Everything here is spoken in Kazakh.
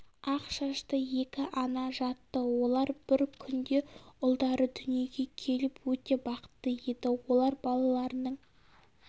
ақ шашты екі ана жатты олар бір күнде ұлдары дүниеге келіп өте бақытты еді олар балаларының